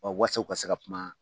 Ɔ waasa u ka se kuma